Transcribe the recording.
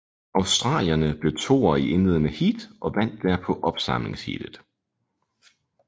Australierne blev toer i indledende heat og vandt derpå opsamlingsheatet